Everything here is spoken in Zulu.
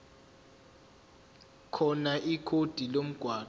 khona ikhodi lomgwaqo